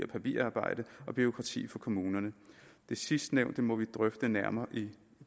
papirarbejde og bureaukrati for kommunerne det sidstnævnte må vi drøfte nærmere i